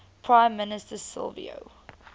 prime minister silvio